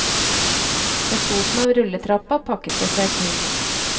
Ved foten av rulletrappa pakket det seg til.